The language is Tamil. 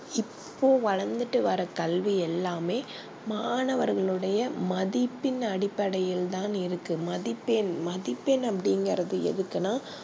இப்போ வளந்துட்டு வர கல்வி எல்லாமே மாணவர்கள் மதிப்பின் அடிப்டையில் தா இருக்கு மதிப்பெண் மதிப்பெண் அப்டி இங்கறது எதுக்குனா